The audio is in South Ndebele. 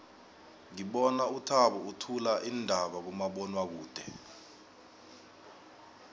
ngibona uthabo uthula iindaba kumabonwakude